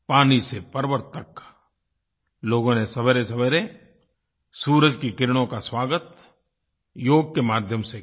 पानी से पर्वत तक लोगों ने सवेरेसवेरे सूरज की किरणों का स्वागत योग के माध्यम से किया